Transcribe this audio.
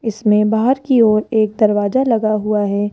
इसमें बाहर की ओर एक दरवाजा लगा हुआ है।